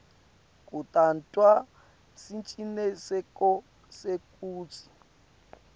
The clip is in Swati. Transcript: kutawenta siciniseko sekutsi